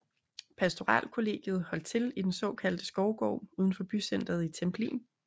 Pastoralkollegiet holdt til i den såkaldte Skovgård udenfor bycenteret i Templin